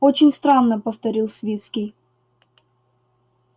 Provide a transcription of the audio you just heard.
очень странно повторил свицкий